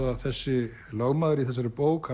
að þessi lögmaður í þessari bók